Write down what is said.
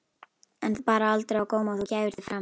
En bar aldrei á góma að þú gæfir þig fram?